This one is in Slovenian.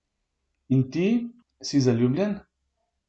In ti, si zaljubljen?